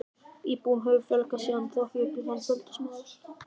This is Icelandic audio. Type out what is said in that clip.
Íbúum hefur fjölgað síðan en þó ekki upp í þann fjölda sem áður var.